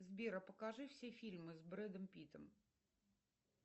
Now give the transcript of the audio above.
сбер а покажи все фильмы с брэдом питтом